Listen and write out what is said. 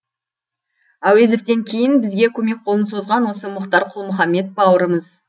әуезовтен кейін бізге көмек қолын созған осы мұхтар құл мұхаммед бауырымыз